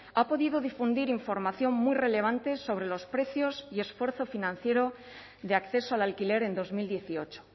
ha podido difundir información muy relevante sobre los precios y esfuerzo financiero de acceso al alquiler en dos mil dieciocho